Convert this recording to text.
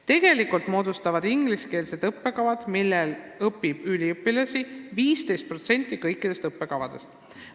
Tegelikult moodustavad ingliskeelsed õppekavad, millel õpib üliõpilasi, 15% kõikidest õppekavadest.